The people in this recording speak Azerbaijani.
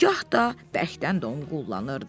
gah da bərkdən donqullanırdı.